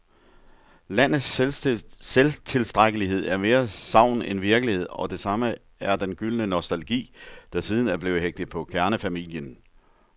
Landets selvtilstrækkelighed er mere sagn end virkelighed, og det samme er den gyldne nostalgi, der siden er blevet hægtet på kernefamilien.